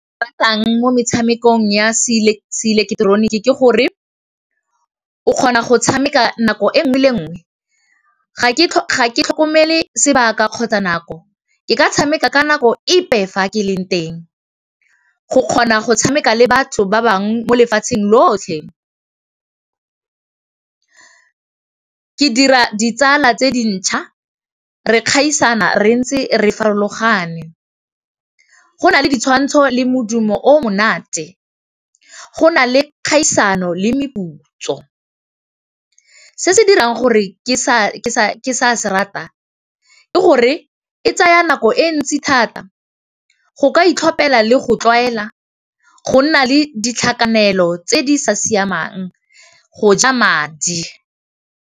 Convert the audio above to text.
Ba tlang mo metshamekong ya se ileketeroniki ke gore, o kgona go tshameka nako e nngwe le nngwe ga ke tlhokomele sebaka kgotsa nako ka tshameka ka nako epe fa ke e leng teng, go kgona go tshameka le batho ba bangwe mo lefatsheng lotlhe ke dira ditsala tse di ntšha re kgaisana re ntse re farologane, go nale ditshwantsho le modumo o monate, go nale kgaisano le meputso se se dirang gore ke se rata ke gore e tsaya nako e ntsi thata, go ka itlhopela le go tlwaela go nna le di tlhakanelo tse di sa siamang go ja madi.